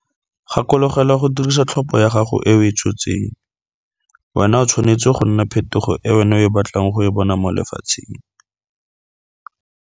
Gakologelwa go dirisa tlhopho ya gago e o e tshotseng, wena o tshwanetse go nna phetogo e wena o batlang go e bona mo lefatsheng.